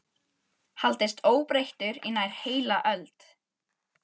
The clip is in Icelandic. haldist óbreyttur í nær heila öld.